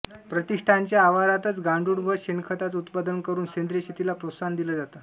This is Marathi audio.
प्रतिष्ठानच्या आवारातच गांडूळ व शेणखताचं उत्पादन करून सेंद्रिय शेतीला प्रोत्साहन दिलं जातं